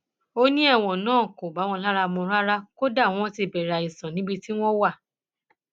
ó ní ẹwọn náà kò bá wọn lára mu rárá kódà wọn ti bẹrẹ àìsàn níbi tí wọn wà